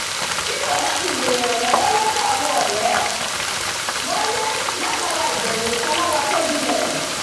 kíkọ̀ láti béèrè ìrànlọ́wọ́ lọ́dọ̀ àwọn ọ̀rẹ́ wáyé látara ìbẹ̀rù ìpalára tó jinlẹ̀